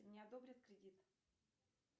мне одобрят кредит